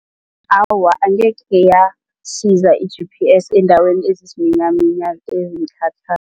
Awa, angekhe yasiza i-G_P_S endaweni ezisiminyaminya